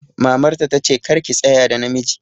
Mamar ta ta ce 'Kar ki tsaya da namiji'!